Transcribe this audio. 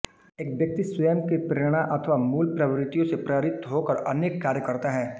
एक व्यक्ति स्वयं की प्रेरणा अथवा मूल प्रवृत्तियों से प्ररित होकर अनेक कार्य करता है